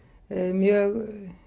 mjög